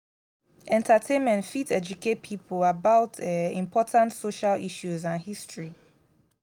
entertainment fit educate people about um important social issues and history.